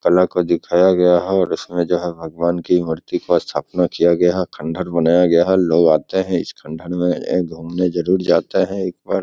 अल्लाह को दिखाया गया है और इसमें जो है भगवान की मूर्ति को स्थापना किया गया है। खंडहर बनाया गया है। लोग आते है इस खंडहर में ये घुमने जरुर जाते है एक बार।